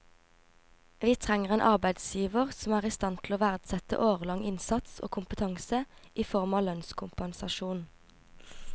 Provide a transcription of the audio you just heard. Vi trenger en arbeidsgiver som er i stand til å verdsette årelang innsats og kompetanse i form av lønnskompensasjon.